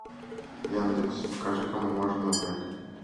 яндекс покажи кому можно набрать